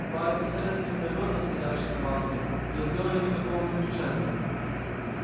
два офицера звездолёта стоявшие на вахте не сделали никакого замечания